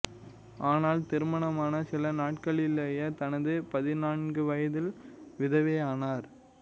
ஆனால் திருமணமான சில நாட்களிலேயே தனது பதினான்கு வயதில் விதவையானார்